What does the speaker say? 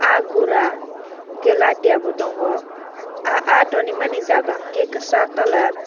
aah gura enkke latiya bo tongo aah aah tonremani enkke kasak colour.